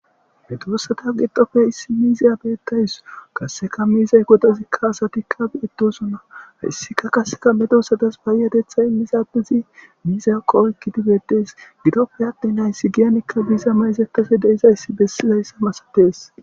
Heduossata gidofe issi miiziya beettays kasseka miizay godazikka asatikka edosunna hayssika kasseka medosadas bayyadetha immizadizi miizakqo oygidibedees gidoppe attinayssi giyanikka biiza mayizetafe deizayssi bessizayssah masatees